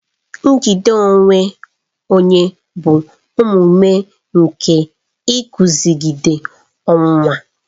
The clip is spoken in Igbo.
Njide onwe onye bụ omume nke iguzogide ọnwụnwa.